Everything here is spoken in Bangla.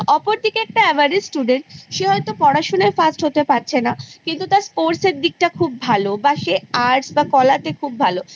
অপরদিকে একটা Average Student সে হয়তো পড়াশোনায় First হতে পারছে না কিন্তু তার Sports এর দিকটা খুব ভালো বা সে Arts বা কলাতে খুব ভালো